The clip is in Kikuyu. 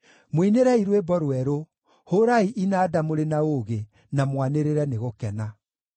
Mũinĩrei rwĩmbo rwerũ; hũũrai inanda mũrĩ na ũũgĩ, na mwanĩrĩre nĩ gũkena.